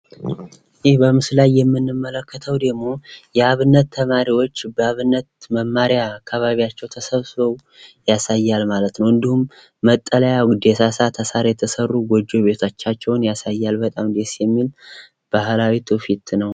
ይህ በምስሉ ላይ የምንመለከተው ደሞ የአብነት ተማሪዎች በአብነት መማሪያ አካባቢያቸው ተሰብስበው ያሳያል ማለት ነው ፤ እንዲሁም መጠለያ ደሳሳ ከሳር የተሰሩ ቤቶቻቸዉን ያሳያል ፤ በጣም ደስ የሚል ባሕላዊ ትዉፊት ነው።